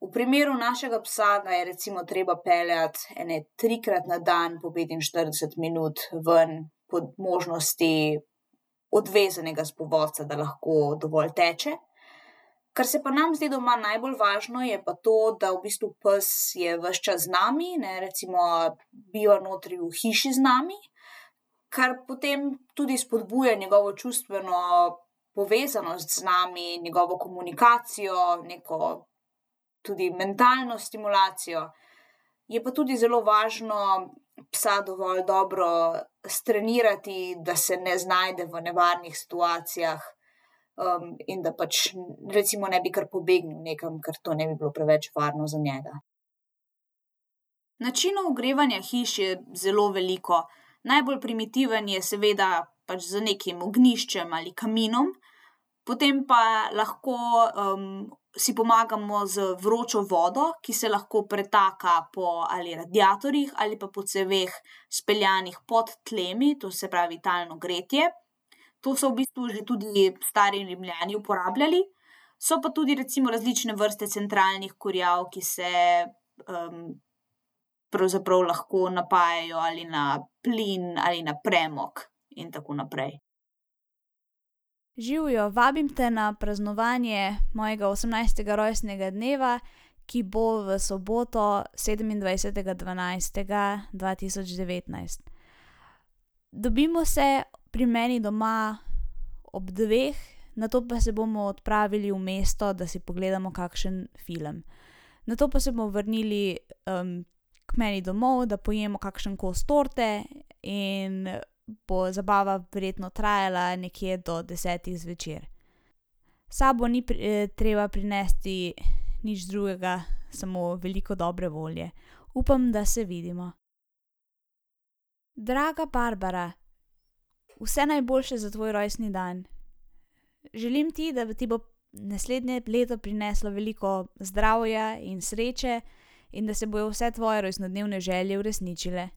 V primeru našega psa ga je recimo treba peljati ene trikrat na dan po petinštirideset minut ven, po možnosti odvezanega s povodca, da lahko dovolj teče. Kar se pa nam zdi doma najbolj važno, je pa to, da v bistvu pes je ves čas z nami, ne, recimo biva notri v hiši z nami, kar potem tudi spodbuja tudi njegovo čustveno povezanost z nami, njegovo komunikacijo, neko tudi mentalno stimulacijo. Je pa tudi zelo važno psa dovolj dobro strenirati, da se ne znajde v nevarnih situacijah, in da pač ne bi kar pobegnil nekam, ker to ne bi bilo preveč varno za njega. Načinov ogrevanja hiš je zelo veliko. Najbolj primitiven je seveda pač z nekim ognjiščem ali kaminom, potem pa lahko, si pomagamo z vročo vodo, ki se lahko pretaka po ali radiatorjih ali pa po ceveh, speljanih pod tlemi. To se pravi talno gretje. To so v bistvu že tudi stari Rimljani uporabljali. So pa tudi recimo različne vrste centralnih kurjav, ki se, pravzaprav lahko napajajo ali na plin ali na premog. In tako naprej. Živjo, vabim te na praznovanje mojega osemnajstega rojstnega dneva, ki bo v soboto, sedemindvajsetega dvanajstega dva tisoč devetnajst. Dobimo se pri meni doma ob dveh, nato pa se bomo odpravili v mesto, da si pogledamo kakšen film. Nato pa se bomo vrnili, k meni domov, da pojemo kakšen kos torte in bo zabava verjetno trajala nekje do desetih zvečer. S sabo ni ni treba prinesti nič drugega, samo veliko dobre volje. Upam, da se vidimo. Draga Barbara, vse najboljše za tvoj rojstni dan. Želim ti, da ti bo naslednje leto prineslo veliko zdravja in sreče in da se bojo vse tvoje rojstnodnevne želje uresničile.